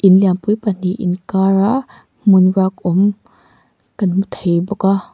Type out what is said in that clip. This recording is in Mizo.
in lianpui pahnih inkara hmun ruak awm kan hmu thei bawk a.